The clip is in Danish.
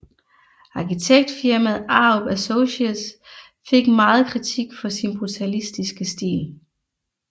Arkitektfirmaet Arup Associates fik meget kritik for sin brutalistiske stil